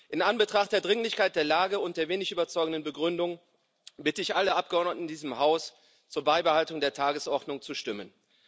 In Anbetracht der Dringlichkeit der Lage und der wenig überzeugenden Begründung bitte ich alle Abgeordneten in diesem Haus, für die Beibehaltung der Tagesordnung zu stimmen.